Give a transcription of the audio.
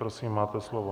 Prosím, máte slovo.